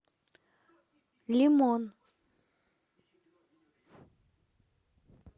лимон